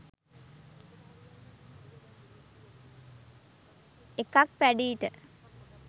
එකක් පැඞීට